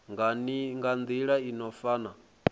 nga nila i no fana